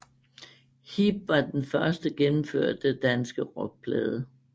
Hip var den første gennemførte danske rockplade